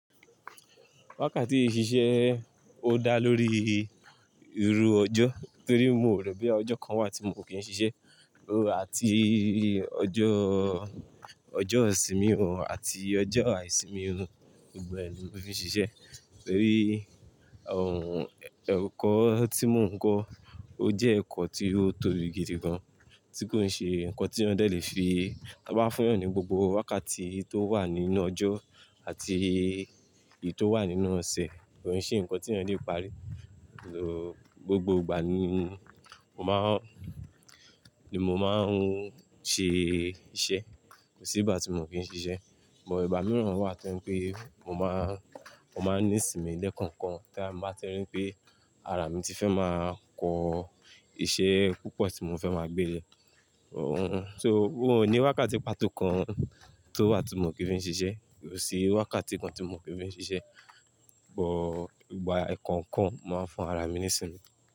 Wákàtí ṣiṣẹ́ ò dá lórí ìrù ọjọ́ torí mo rò pé ọjọ́ kan wà tí mo kì í ṣiṣẹ́. Àti ọjọ́, ọjọ́ ìsinmi òun àti ọjọ́ àìsinmi òun, gbogbo ni mo fi ń ṣiṣẹ́. Torí ọ̀hun, ẹ̀kọ́ tí mò ń kọ́, ó jẹ́ ẹ̀kọ́ tí ó tóbi gidi gan, tí kò ń ṣe nǹkan tí onẹ̀ lè fi, a bá fẹ́yàn ní gbogbo wákàtí tó wà nínú ọjọ́ àti èyí tó wà nínú ọ̀sẹ̀, kò ń ṣe nǹkan tí onẹ̀ lè parí. Òun gbogbo ìgbà ni mò ń má, ni mò máa ń ṣe iṣẹ́, kò sí ìgbà tí mò kí ń ṣiṣẹ́. Ò bá ìmíràn wà tí pé mò má, mò máa ní ìsinmi lẹ́ẹ̀kan kan tí a máa ti rí pé ara mi ti fẹ́ máa kọ iṣẹ́ púpọ̀ tí mò fẹ́ máa gbé lẹ̀. Òun, so ó ní wákàtí pàtó kan tó wà tí mò kí ń fi ń ṣiṣẹ́, kò sí wákàtí kan tí mò kí ń fi ń ṣiṣẹ́. Ò bo ìgbà ekankan màá ń fún ara mi ní ìsinmi.